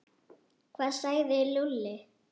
Hvað sagði Lúlli?